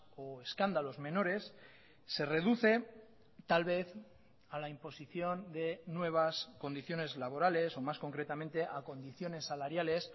o escándalos menores se reduce tal vez a la imposición de nuevas condiciones laborales o más concretamente a condiciones saláriales